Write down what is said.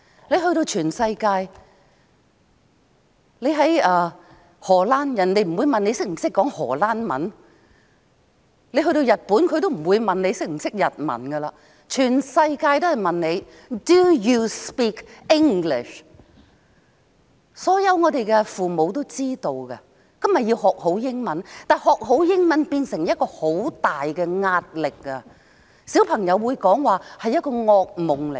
到訪全世界，例如荷蘭，不會有人問你是否懂荷蘭文；到日本，也不會有人問你是否懂日文，全世界都會問你 ："Do you speak English?" 香港所有父母都知道，孩子要學好英文，但學英文已對孩子造成很大壓力，對小孩是個噩夢。